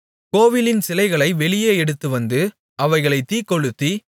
கோவிலின் சிலைகளை வெளியே எடுத்துவந்து அவைகளைத் தீக்கொளுத்தி